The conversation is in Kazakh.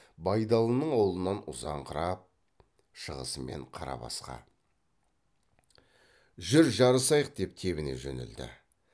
байдалының аулынан ұзаңқырап шығысымен қарабасқа жүр жарысайық деп тебіне жөнелді